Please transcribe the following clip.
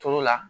Tulu la